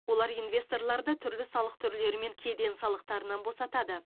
олар инвесторларды түрлі салық түрлері мен кеден салықтарынан босатады